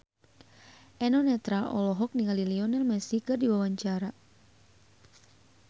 Eno Netral olohok ningali Lionel Messi keur diwawancara